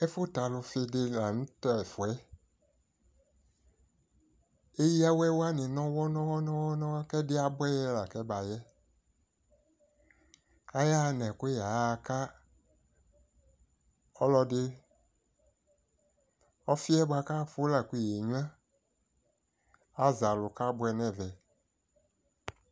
Ɛfʋtɛalʋfi di la nʋ tɛfuɛ Eyawɛ wani nɔwɔ nɔwɔ nɔwɔ nɔwɔ kɛ diɛ abuɛyɛ la kɛbayɛ Ayaɣa nɛkʋyɛ yɛ aka ɔlɔdi Ɔfi yɛ boakʋ afʋ la kʋ yɛnyua Azalʋ kabuɛ nɛ vɛ